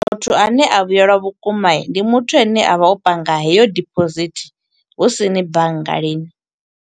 Muthu ane a vhuyelwa vhukuma, ndi muthu ane avha o panga heyo deposit, husini bannga lini.